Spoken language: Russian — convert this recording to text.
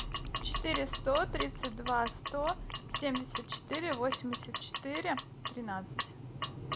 четыре сто тридцать два сто семьдесят четыре восемьдесят четыре тринадцать